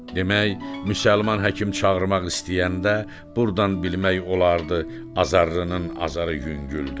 Demək, müsəlman həkim çağırmaq istəyəndə burdan bilmək olardı azarlının azarı yüngüldür.